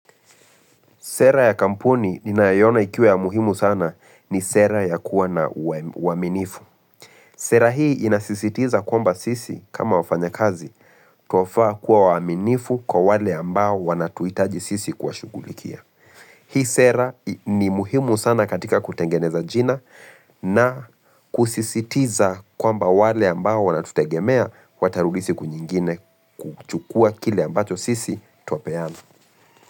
Sera ya kampuni ni naiona ikiwa ya muhimu sana ni sera ya kuwa na uaminifu. Sera hii inasisitiza kwamba sisi kama wafanya kazi twafaa kuwa waminifu kwa wale ambao wanatuitaji sisi kuwashughulikia. Hii sera ni muhimu sana katika kutengeneza jina na kusisitiza kwamba wale ambao wanatutegemea watarudi siku nyingine kuchukua kile ambacho sisi twapeana.